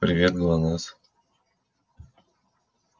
привет глонассс